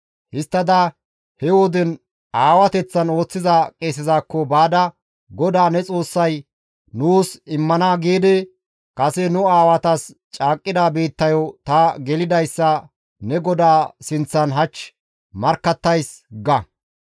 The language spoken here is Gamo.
Histtada he woden aawateththan ooththiza qeesezakko baada, «GODAA ne Xoossay nuus immana giidi kase nu aawatas caaqqida biittayo ta gelidayssa ne GODAA sinththan hach markkattays» ga.